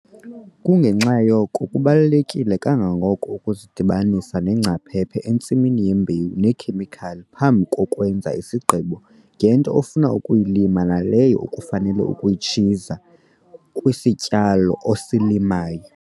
Kungenxa yoko kubaluleke kangako ukuzidibanisa neengcaphephe entsimini yembewu neekhemikhali phambi kokwenza isigqibo ngento ofuna ukuyilima naleyo ufanele ukuyitshiza kwisityalo osilimayo.